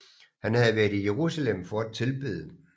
Han havde været i Jerusalem for at tilbede